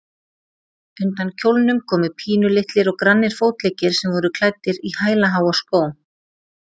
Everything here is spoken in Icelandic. Undan kjólnum komu pínulitlir og grannir fótleggir sem voru klæddir í hælaháa skó.